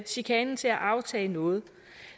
chikanen til at aftage noget